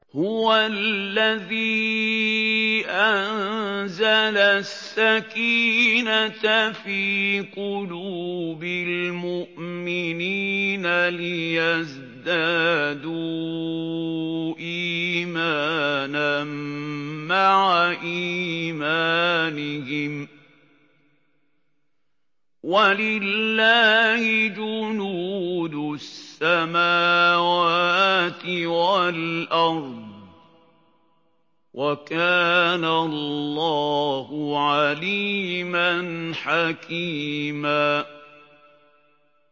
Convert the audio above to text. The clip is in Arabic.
هُوَ الَّذِي أَنزَلَ السَّكِينَةَ فِي قُلُوبِ الْمُؤْمِنِينَ لِيَزْدَادُوا إِيمَانًا مَّعَ إِيمَانِهِمْ ۗ وَلِلَّهِ جُنُودُ السَّمَاوَاتِ وَالْأَرْضِ ۚ وَكَانَ اللَّهُ عَلِيمًا حَكِيمًا